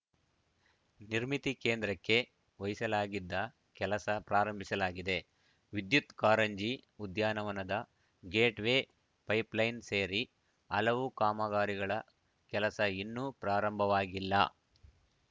ನಿರ್ಮಿತಿ ಕೇಂದ್ರಕ್ಕೆ ವಹಿಸಲಾಗಿದ್ದ ಕೆಲಸ ಪ್ರಾರಂಭಿಸಲಾಗಿದೆ ವಿದ್ಯುತ್‌ ಕಾರಂಜಿ ಉದ್ಯಾನವನದ ಗೇಟ್‌ವೇ ಪೈಪ್‌ಲೈನ್‌ ಸೇರಿ ಹಲವು ಕಾಮಗಾರಿಗಳ ಕೆಲಸ ಇನ್ನೂ ಪ್ರಾರಂಭವಾಗಿಲ್ಲ